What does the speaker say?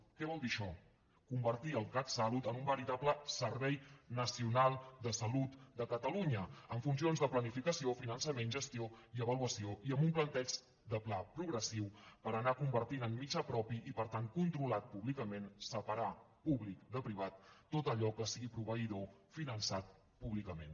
què vol dir això convertir el catsalut en un veritable servei nacional de salut de catalunya amb funcions de planificació finançament gestió i avaluació i amb un plantejament de pla progressiu per anar convertint en mitjà propi i per tant controlat públicament separar públic de privat tot allò que sigui proveïdor finançat públicament